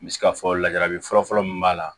N bɛ se ka fɔ lajarabi fɔlɔ fɔlɔ min b'a la